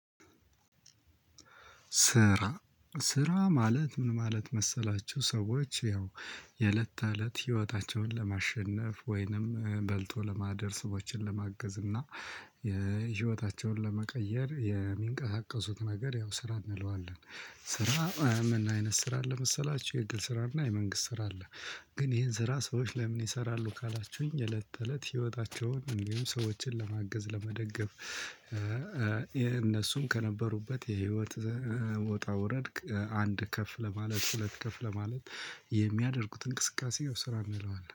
ስራ ስራ ማለት ምን ማለት መሰላችሁ ሰዎች ያው የለት ተለት ህይወታቸውን ለማሸነፍ ወይንም በልጦ ለማደር ሰዎችን ለማገዝ እና የህይወታቸውን ለመቀየር የሚንቀሳቀሱት ነገር ያው ስራ እንለዋለን። ስራ ምን አይነት ስራ አለ መሰላችሁ የግል ስራና የመንግስት ስራ አለ። ግን ይሄን ስራ ሰዎች ለምን ይሰራሉ ካላችሁኝ እለት እለት ህይወታቸውን እንዲሁም ሰዎችን ለማገዝ ለመደገፍ የእነሱም ከነበሩበት የህይወት ውጣ ውረድ አንድ ከፍ ለማለት ሁለት ከፍ ለማለት የሚያደርጉት እንቅስቃሴው ስራ እንለዋለን።